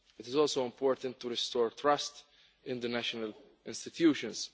It is also important to restore trust in the national institutions.